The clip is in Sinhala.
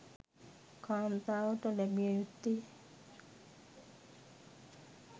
කාන්තාවට ලැබිය යුත්තේ